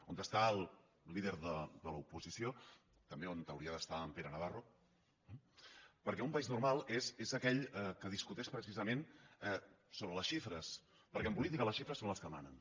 on està el líder de l’oposició també on hauria d’estar en pere navarro eh perquè un país normal és aquell que discuteix precisament sobre les xifres perquè en política les xifres són les que manen